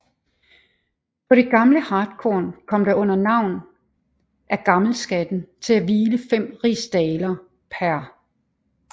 På det gamle hartkorn kom der under navn af gammelskatten til at hvile 5 rigsdaler pr